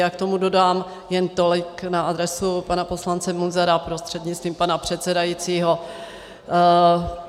Já k tomu dodám jen tolik na adresu pana poslance Munzara prostřednictvím pana předsedajícího.